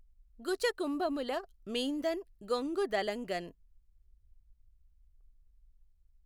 గుచకుంభముల మీఁదఁ గొంగు దలఁగఁ